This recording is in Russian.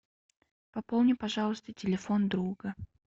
пополни пожалуйста телефон друга